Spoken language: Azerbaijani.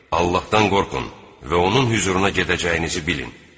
Allahdan qorxun və onun hüzuruna gedəcəyinizi bilin.